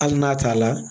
Hali n'a t'a la